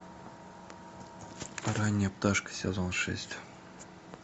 ранняя пташка сезон шесть